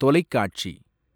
தொலைக்காட்சி